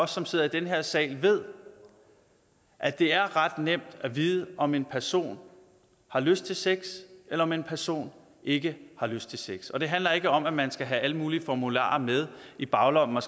som sidder i den her sal ved at det er ret nemt at vide om en person har lyst til sex eller om en person ikke har lyst til sex det handler ikke om at man skal have alle mulige formularer med i baglommen hvor